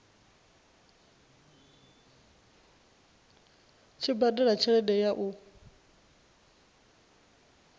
tshi badela tshelede ya u